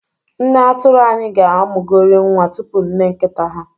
Nne atụrụ anyị ga-amụgori nwa tupu nne nkita ha.